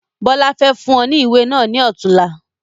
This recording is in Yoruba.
Bọlá fẹ́ fún ọ ní ìwé náà ni ọ̀tunla